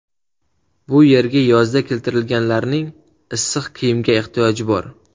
Bu yerga yozda keltirilganlarning issiq kiyimga ehtiyoji bor.